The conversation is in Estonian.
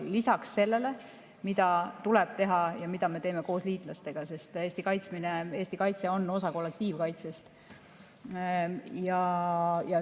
Seda lisaks sellele, mida tuleb teha ja mida me teeme koos liitlastega, sest Eesti kaitse on osa kollektiivkaitsest.